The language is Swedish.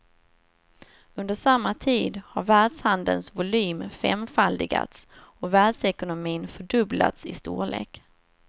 Under samma tid har världshandelns volym femfaldigats och världsekonomin fördubblats i storlek.